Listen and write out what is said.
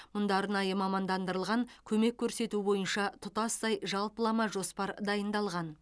мұнда арнайы мамандандырылған көмек көрсету бойынша тұтастай жалпылама жоспар дайындалған